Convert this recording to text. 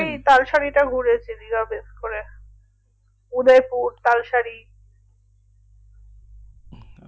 তালশাড়ি টা ঘুরেছি দীঘা base করে উদয়পুর তালশাড়ি